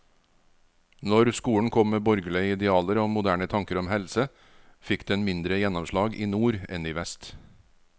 Når skolen kom med borgerlige idealer og moderne tanker om helse, fikk den mindre gjennomslag i nord enn i vest.